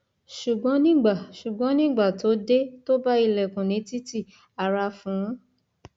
ṣùgbọn nígbà ṣùgbọn nígbà tó dé tó bá ilẹkùn ní títì ara fu ú